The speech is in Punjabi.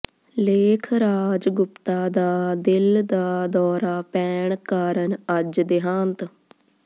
ਲੇਖ ਰਾਜ ਗੁਪਤਾ ਦਾ ਦਿਲ ਦਾ ਦੌਰਾ ਪੈਣ ਕਾਰਨ ਅੱਜ ਦਿਹਾਂਤ